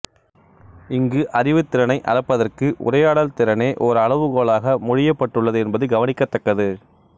இங்கு அறிவுத் திறனை அளப்பதற்கு உரையாடல் திறனே ஒரு அளவுகோலாக மொழியப் பட்டுள்ளது என்பது கவனிக்கத் தக்கது